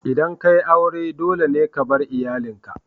Idan ka yi aure, dole ne ka bar iyalinka.